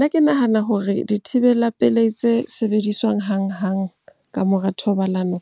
Ke nahana hore dithibela pelehi tse sebediswang hang-hang ka mora thobalano